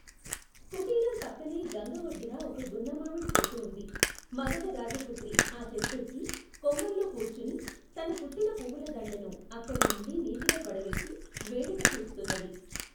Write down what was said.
కుటీరం పక్కనే గంగఒడ్డున ఒక గున్నమామిడి చెట్టు వుంది మగధ రాజపుత్రి ఆ చెట్టెక్కి కొమ్మల్లో కూర్చుని తను కట్టిన పువ్వులదండను అక్కడినుండి నీటిలో పడవేసి వేడుక చూస్తున్నది.